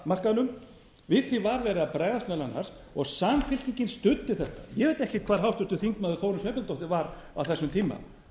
var verið að bregðast meðal annars og samfylkingin studdi þetta ég veit ekkert hvar háttvirtur þingmaður þórunn sveinbjarnardóttir var á þessum tíma